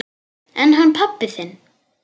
En hann pabbi þinn?